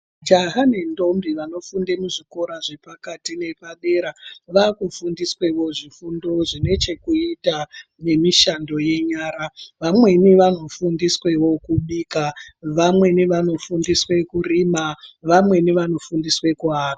Majaha nendombi vanofunde muzvikora zvepakati nepadera vakufundiswawo zvifundo zvinechekuita ngemishando yenyara vamweni vanofundiswewo kubika vamweni vanofundiswe kuaka.